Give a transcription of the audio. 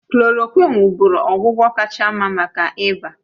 Klòròkwịn wụ́bụ́ru ọgwụgwọ kacha mma maka ịba